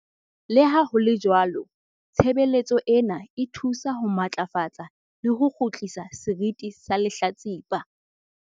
"Le ha ho le jwalo, tshebeletso ena e thusa ho matlafatsa le ho kgutlisa seriti sa lehlatsipa."